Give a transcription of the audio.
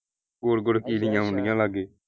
ਗੋਲ ਗੋਲ ਕੀੜੀਆਂ ਆਉਣ ਡੀਆਂ ਲਾਗੇ।